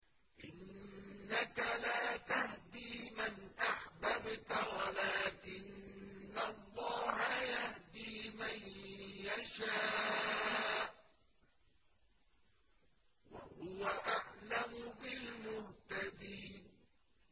إِنَّكَ لَا تَهْدِي مَنْ أَحْبَبْتَ وَلَٰكِنَّ اللَّهَ يَهْدِي مَن يَشَاءُ ۚ وَهُوَ أَعْلَمُ بِالْمُهْتَدِينَ